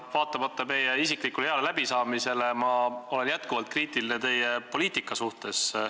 Aga vaatamata meie isiklikule heale läbisaamisele ma olen jätkuvalt kriitiline teie poliitika suhtes.